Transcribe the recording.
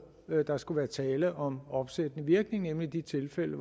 der skulle være tale om opsættende virkning nemlig i de tilfælde